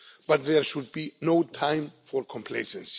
But there should be no time for complacency.